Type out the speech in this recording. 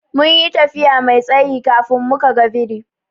Mun yi tafiya Mai tsayi kafin muka ga biri.